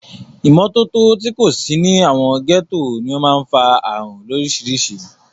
Ìmọ́tótó tí kò sí ní àwọn gẹ́tò ní o máà ń fa ààrùn lórísirísì.